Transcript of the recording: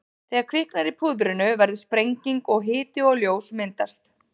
Þegar kviknar í púðrinu verður sprenging og hiti og ljós myndast.